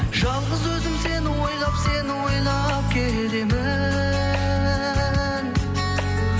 жалғыз өзім сені ойлап сені олап келемін